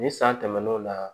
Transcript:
Ni san tɛmɛn'o la